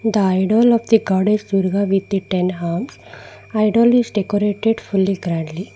the idol of the goddess durga with a ten arms idol is decorated fully grandly.